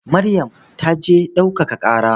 Maryam ta je ɗaukaka ƙara.